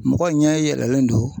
Mɔgɔ ɲɛ yɛlɛlen do